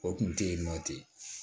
O kun tɛ yen nɔ ten